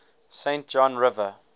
saint john river